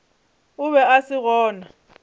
o be a se gona